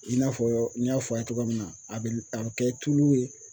I n'a fɔ n y'a fɔ a ye cogoya min na, a bɛ a bɛ kɛ tulu ye